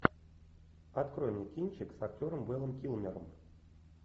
открой мне кинчик с актером вэлом килмером